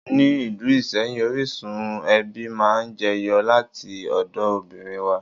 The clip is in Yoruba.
Ni ìlú Ìsẹ́yìn, orísun ẹbí máa ń jẹ yọ láti ọ̀dọ̀ obìnrin wá.